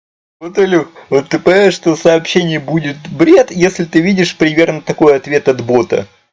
вот илюха ты понимаешь что сообщение будет бред если видишь примерно такой ответ от бота